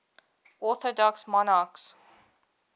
orthodox monarchs